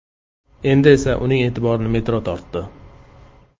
Endi esa uning e’tiborini metro tortdi.